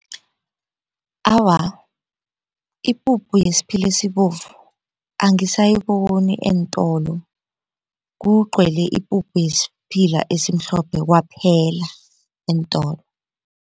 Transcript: Awa, ipuphu yesiphila esibovu angisayiboni eentolo kugcwele ipuphu yesiphila esimhlophe kwaphela eentolo.